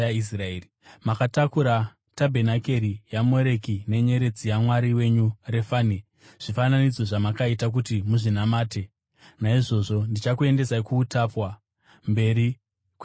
Makatakura tabhenakeri yaMoreki nenyeredzi yamwari wenyu Refani, zvifananidzo zvamakaita kuti muzvinamate. Naizvozvo ndichakuendesai kuutapwa’ mberi kweBhabhironi.